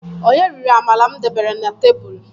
Onye riri amala m debere na tebulu?